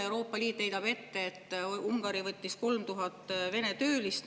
Euroopa Liit heidab ette, et Ungari 3000 Vene töölist.